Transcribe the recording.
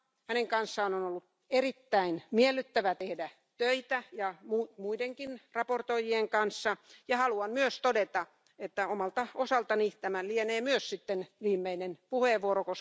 Hänen kanssaan on ollut erittäin miellyttävä tehdä töitä samoin kuin muidenkin esittelijöiden kanssa. Haluan myös todeta, että omalta osaltani tämä lienee myös sitten viimeinen puheenvuoro.